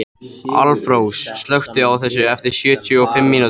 Álfrós, slökktu á þessu eftir sjötíu og fimm mínútur.